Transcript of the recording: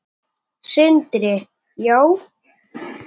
Sindri: Já?